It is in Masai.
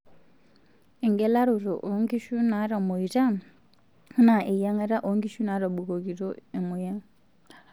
Engelaroto onkishu natamuoyita enaa eyiengata oonkishu naatobikokito emoyian.